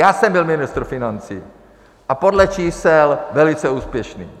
Já jsem byl ministr financí a podle čísel velice úspěšný.